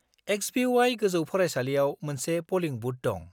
XBY गो‍जौ फरायसालियाव मोनसे पलिं बुथ दं।